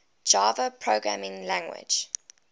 java programming language